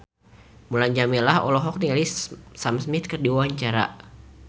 Mulan Jameela olohok ningali Sam Smith keur diwawancara